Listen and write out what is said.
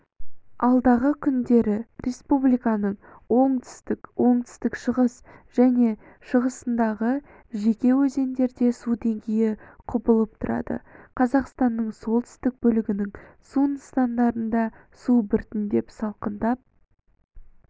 алдағы күндері республиканың оңтүстік оңтүстік-шығыс және шығысындағы жеке өзендерде су деңгейі құбылып тұрады қазақстанның солтүстік бөлігінің су нысандарында су біртіндеп салқындай